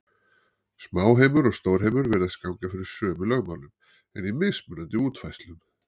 Smáheimur og stórheimur virðist ganga fyrir sömu lögmálum, en í mismunandi útfærslum.